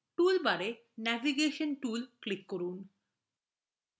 টুলবারে navigation tool এ click করুন